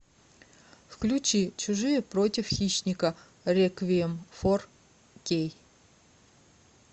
включи чужие против хищника реквием фор кей